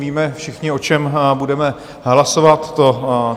Víme všichni, o čem budeme hlasovat?